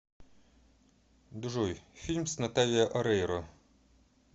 джой фильм с наталия орейро